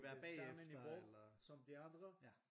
På samme niveau som de andre